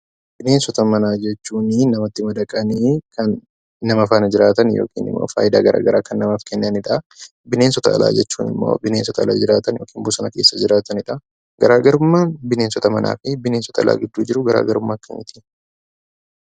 Bineensota manaa jechuun namatti madaqanii kan nama faana jiraatan yookiin immoo faayidaa garaa garaa kan namaaf kennanidha. Bineensota alaa jechuun immoo bineensota ala jiraatan yookiin immoo bosona keessa jiraatanidha. Garaagarummaan bineensota manaa fi bineensota alaa gidduu jiru garaagarummaa akkamiiti?